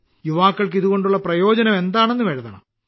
യുവാക്കൾക്ക് ഇതുകൊണ്ടുള്ള പ്രയോജനം എന്താണെന്നും എഴുതണം